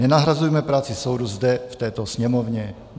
Nenahrazujme práci soudu zde v této Sněmovně.